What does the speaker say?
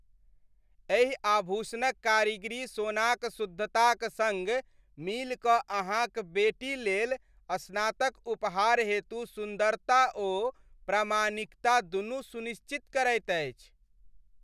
एहि आभूषणक कारीगरी सोनाक शुद्धताक सङ्ग मिलिकऽ अहाँक बेटीक लेल स्नातक उपहार हेतु सुन्दरता ओ प्रामाणिकता दुनू सुनिश्चित करैत अछि।